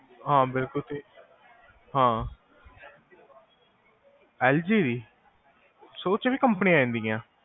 ਹਾਂ ਬਿਲਕੁਲ ਹਾਂ, ਐਲ ਜੀ? ਓਚ ਵੀ companies ਆ ਜਾਂਦਿਆ ਹੈਗੇਆਂ